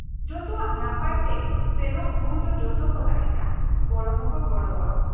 ᱡᱚᱛᱚᱣᱟᱜ ᱱᱟᱯᱟᱭ ᱛᱮ ᱥᱮᱱᱚᱜ ᱵᱷᱩᱨ ᱫᱚ ᱡᱚᱛᱚᱠᱚ ᱛᱟᱦᱮᱸᱱᱟ, ᱜᱚᱲᱚ ᱦᱚᱸᱠᱚ ᱜᱚᱜᱲᱚᱣᱟ ᱾